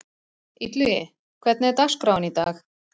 Illugi, hvernig er dagskráin í dag?